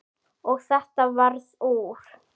Og þetta varð úr.